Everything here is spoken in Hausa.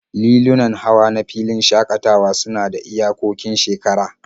Lilunan hawa na filin shakatawa suna da iyakokin shekara